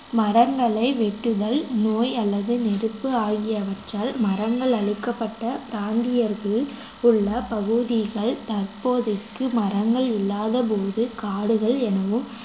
மரங்களை வெட்டுதல் நோய் அல்லது நெருப்பு ஆகியவற்றால் மரங்கள் அழிக்கப்பட்ட பிராந்தியத்தில் உள்ள பகுதிகள் தற்போதைக்கு மரங்கள் இல்லாதபோது காடுகள் எனவும்